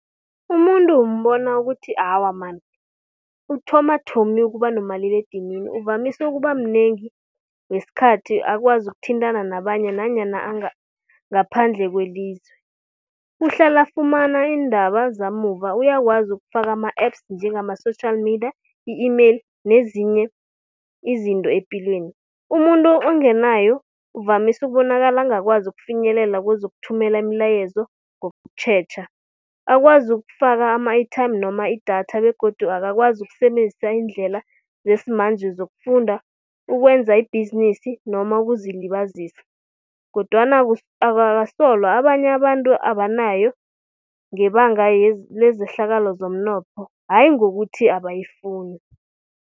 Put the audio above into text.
Umuntu umbona ukuthi awa man, uthoma thomi ukuba nomaliledinini, uvamise ukuba mnengi, nesikhathi akwazi ukuthintana nabanye nanyana ngaphandle kwelize. Uhlala afumana iindaba zamuva, uyakwazi ukufaka ama-apps njengama social media, i-email nezinye izinto epilweni. Umuntu ongenayo uvamise ukubonakala angakwazi ukufinyelela kwezokuthumela imilayezo ngokutjhetjha. Akwazi ukufaka ama-airtime noma idatha begodu akakwazi ukusebenzisa iindlela zesimanje zokufunda, ukwenza ibhizinisi noma ukuzilibazisa. Kodwana abasolwa abanye abantu abanayo ngebanga lezehlakalo zomnotho hayi ngokuthi abayifuni.